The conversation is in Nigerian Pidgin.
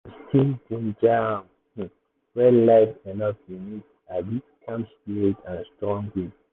to still get ginger um when life rough you need um calm spirit and strong will.